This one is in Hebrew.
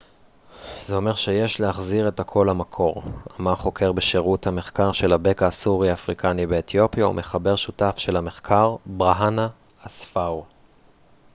זה אומר שיש להחזיר את הכל למקור אמר חוקר בשירות המחקר של הבקע הסורי-אפריקני באתיופיה ומחבר שותף של המחקר ברהאנה אספאו